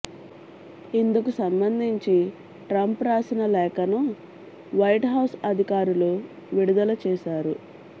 ఇందుకు సంబంధించి ట్రంప్ రాసిన లేఖను వైట్ హౌజ్ అధికారులు విడుదల చేశారు